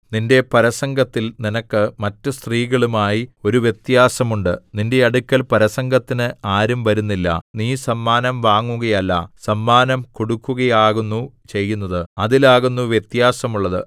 നിന്റെ പരസംഗത്തിൽ നിനക്ക് മറ്റു സ്ത്രീകളുമായി ഒരു വ്യത്യാസം ഉണ്ട് നിന്റെ അടുക്കൽ പരസംഗത്തിന് ആരും വരുന്നില്ല നീ സമ്മാനം വാങ്ങുകയല്ല സമ്മാനം കൊടുക്കുകയാകുന്നു ചെയ്യുന്നത് അതിലാകുന്നു വ്യത്യാസം ഉള്ളത്